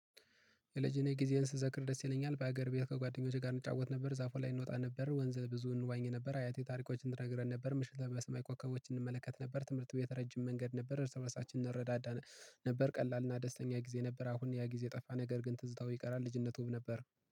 የልጅነት ጊዜዬን ስዘክር ደስ ይለኛል በሀገር ቤት ከጓደኞቼ ጋር እንጫወት ነበር። ዛፉ ላይ እንወጣ ነበር ወንዝ ብዙ እንዋኝ ነበር። አያቴ ታሪኮችን ትነግረን ነበር ምሽት ለይ በሰማይ ኮከቦች እንመለከት ነበር። ትምህርት ቤት ረጅም መንገድ ነበር እርስበርሳችን እንረዳዳ ነበር ቀላልና ደስተኛ ጊዜ ነበር። አሁን ያ ጊዜ ጠፋ ነገር ግን ትዝታው ይቀራል ልጅነቱም ነበር